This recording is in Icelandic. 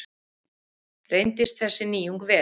Reyndist þessi nýjung vel.